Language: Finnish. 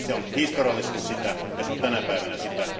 Se on historiallisesti sitä ja se on tänä päivänä sitä.